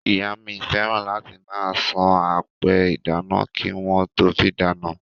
Ìyá mi fẹ́ràn láti máa san apẹ ìdáná kí wọ́n tó fí dáná.